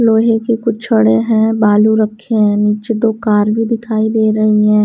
लोहे की कुछ छोड़े हैं बालू रखे हैं नीचे दो कार भी दिखाई दे रहे हैं।